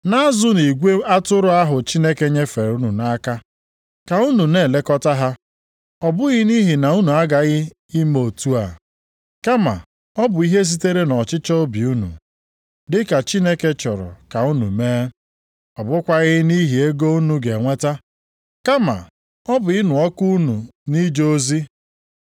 na-azụnụ igwe atụrụ ahụ Chineke nyefere unu nʼaka. Ka unu na-elekọta ha, ọ bụghị nʼihi na unu agaghị ime otu a, kama ọ bụ ihe sitere nʼọchịchọ obi unu, dị ka Chineke chọrọ ka unu mee. Ọ bụkwaghị nʼihi ego unu ga-enweta, kama ọ bụ ịnụ ọkụ unu nʼije ozi.